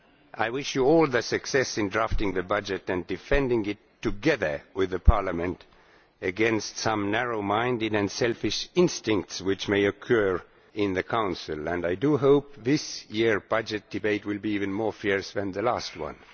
I wish you all success in drafting the budget and defending it, together with Parliament, against some narrow-minded and selfish instincts which may occur in the Council, and I do hope that this year's budget debate will be even fiercer than the last one.